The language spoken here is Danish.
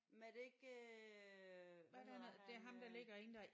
Men er det ikke øh hvad hedder han øh